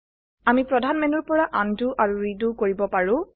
আমি প্ৰধান মেনুৰ পৰা আনডু আৰু ৰিডু কৰিব পাৰো